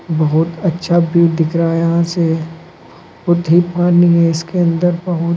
बहोत अच्छा व्यू दिख रहा है यहां से बहुत पानी है इसके अंदर बहुत--